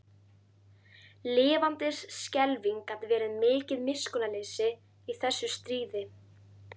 Lifandis skelfing gat verið mikið miskunnarleysi í þessu stríði.